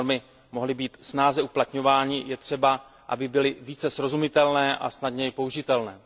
Aby normy mohly být snáze uplatňovány, je třeba, aby byly více srozumitelné a snadněji použitelné.